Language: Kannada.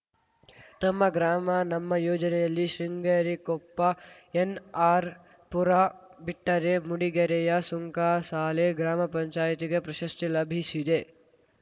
ನಮ್ಮ ಗ್ರಾಮ ನಮ್ಮ ಯೋಜನೆಯಲ್ಲಿ ಶೃಂಗೇರಿ ಕೊಪ್ಪ ಎನ್‌ಆರ್‌ಪುರ ಬಿಟ್ಟರೆ ಮೂಡಿಗೆರೆಯ ಸುಂಕಸಾಲೆ ಗ್ರಾಮಪಂಚಾಯತಿಗೆ ಪ್ರಶಸ್ತಿ ಲಭಿಸಿದೆ